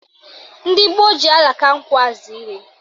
Ndị gboo ji alaka nkwụ aza ihe